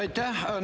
Aitäh!